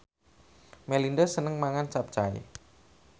Melinda seneng mangan capcay